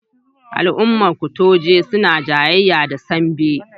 Al'umman kutuje suna jayayya da Sambi.